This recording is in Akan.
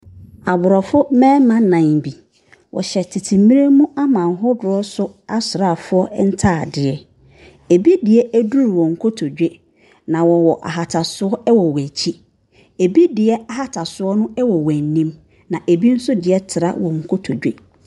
Aborɔfo mmarima nnan bi. Wɔhyɛ tete mmerɛ mu aman ahodoɔ so asraafoɔ ntadeɛ. Ebi deɛ duru wɔn kotodwe, na wɔwɔ ahatasoɔ wɔ wɔn akyi. Ebi deɛ ahatasoɔ no wɔ wɔn anim, na ebi deɛ nso tra wɔn nkontodwe.